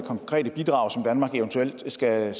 skal